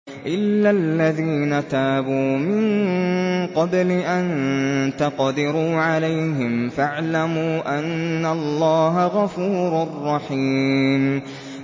إِلَّا الَّذِينَ تَابُوا مِن قَبْلِ أَن تَقْدِرُوا عَلَيْهِمْ ۖ فَاعْلَمُوا أَنَّ اللَّهَ غَفُورٌ رَّحِيمٌ